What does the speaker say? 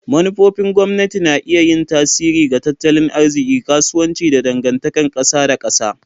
Manufofin gwamnati na iya yin tasiri ga tattalin arziki, kasuwanci, da dangantakar kasa da kasa.